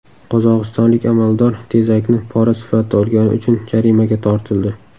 Qozog‘istonlik amaldor tezakni pora sifatida olgani uchun jarimaga tortildi.